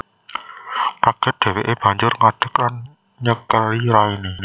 Kaget dheweke banjur ngadek lan nyekeli raine